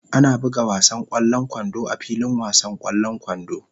Ana buga wasan ƙwallon kwando a filin wasan ƙwallon kwando.